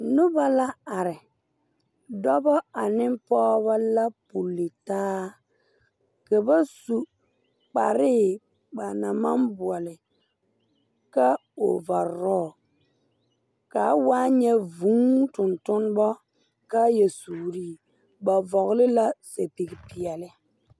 Noba la are dɔbɔ ane pɔgebɔ la pulli taa ka ba su kparree ba naŋ maŋ buole ka ovarɔɔ kaa waa nyɛ vūū tontonnebo kaayɛ suuree ba vɔgle la sɛpig peɛɛli.